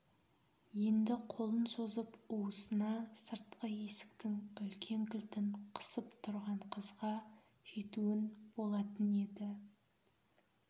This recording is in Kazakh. енді қолын созып уысына сыртқы есіктің үлкен кілтін қысып тұрған қызға жетуін болатын еді